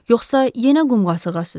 Yoxsa yenə qum qasırğasıdır?